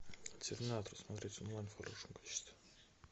терминатор смотреть онлайн в хорошем качестве